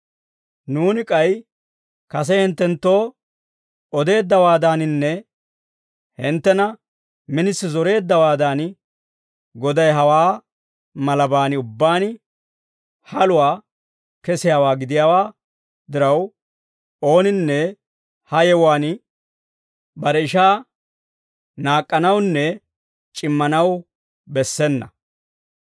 Nuuni k'ay kase hinttenttoo odeeddawaadaninne hinttena minisi zoreeddawaadan, Goday hawaa malaban ubbaan haluwaa kesiyaawaa gidiyaa diraw, ooninne ha yewuwaan bare ishaa naak'k'anawunne c'immanaw bessena.